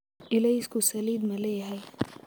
Ilaysku saliid ma leeyahay?